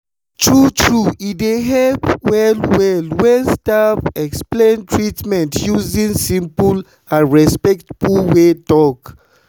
true true e dey help well well when staff explain treatment using simple and respectful way talk.